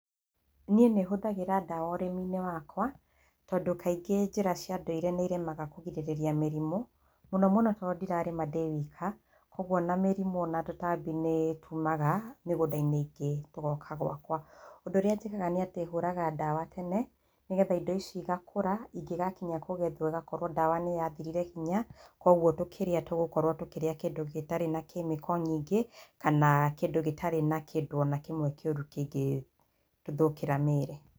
Niĩ nĩ hũthagĩra ndawa ũrĩmi-inĩ wakwa, tondũ kaingĩ njĩra cia ndũire nĩ iremaga kũgirĩrĩria mĩrimũ, mũno mũno tondũ ndirarĩma ndĩ wika, ũguo na mĩrimũ na tũtambi nĩ tuumaga mĩgũnda-inĩ tũgoka gwakwa. Ũndũ ũrĩa njĩkaga nĩ atĩ hũũraga ndawa tene, nĩ getha indo ici igakũra, ingĩgakinya kũgethwo ĩgakorwo ndawa nĩ yathirire hinya, kwoguo tũkĩrĩa tũgũkorũo tũkĩrĩa kĩndũ gĩtarĩ na chemical nyingĩ, kana kĩndũ gĩtarĩ na kĩndũ o na kĩmwe kĩũru kĩngĩthũkĩra mĩĩrĩ.